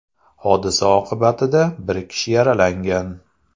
Hodisa oqibatida bir kishi yaralangan.